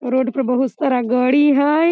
ए road पे बहुत सारा गाड़ी हेय ।